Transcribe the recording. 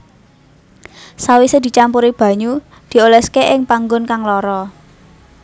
Sawise dicampuri banyu dioleske ing panggon kang lara